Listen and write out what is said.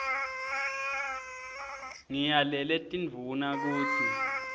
ngiyalele tindvuna kutsi